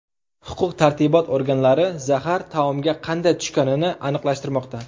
Huquq-tartibot organlari zahar taomga qanday tushganini aniqlashtirmoqda.